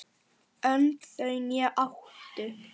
Önd þau né áttu